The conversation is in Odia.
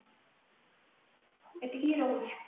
ଏତିକି ହି ରହୁଛି